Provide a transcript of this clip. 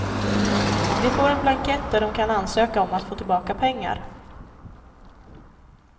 De får en blankett där de kan ansöka om att få tillbaka pengar.